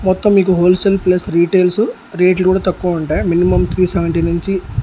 మొత్తం మీకు wholesale plus retails రేట్లు కూడా తక్కువ ఉంటాయి మినిమం త్రీ సెవెంటీ నుంచి.